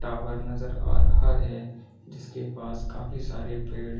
tower नजर आ रहा है जिसके पास काफी सारे पेड़ --